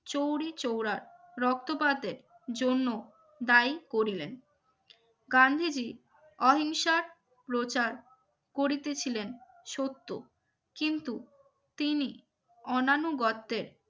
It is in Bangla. চৌরিচৌরা রক্তপাতে জন্য দায়ী করিলেন গান্ধীজি অহিংসার প্রচার করিতেছিলেন সত্য কিন্তু তিনি অনানুগত্যের